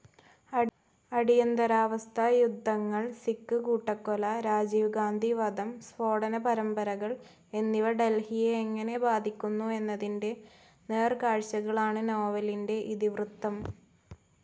അടിയന്തരാവസ്ഥ, യുദ്ധങ്ങൾ, സിഖ് കൂട്ടക്കൊല, രാജീവ്ഗാന്ധി വധം, സ്ഫോടനപരമ്പരകൾ എന്നിവ ഡെൽഹിയെ എങ്ങനെ ബാധിക്കുന്നു എന്നതിന്റെ നേർക്കാഴ്ചകളാണ് നോവലിന്റെ ഇതിവൃത്തം.